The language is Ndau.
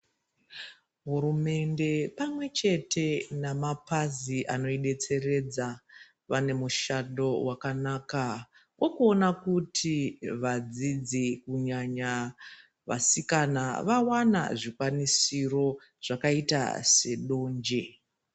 Hurumende pamwechete nemapazi anoidetseredza vane mushando wakanaka wokuona kuti vadzidzi kunyanya vasikana vawana zvikwanisiro zvakaita sedonje.